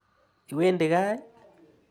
Iwendi kaa ii?